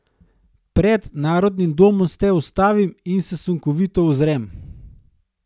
Pred Narodnim domom se ustavim in se sunkovito ozrem.